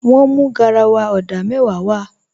Wọ́n mú garawa odà mẹ́wàá w